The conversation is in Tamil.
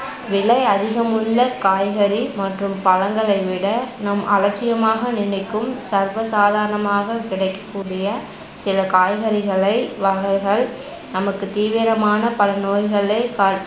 விலை அதிகம் உள்ளக் காய்கறி மற்றும் பழங்களை விட நம் அலட்சியமாக நினைக்கும் சர்வசாதரணமாகக் கிடைக்கக்கூடிய சில காய்கறிகளை வாங்குவதால் நமக்குத் தீவிரமான பல நோய்களை கா~